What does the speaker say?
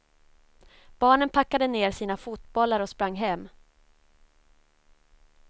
Barnen packade ner sina fotbollar och sprang hem.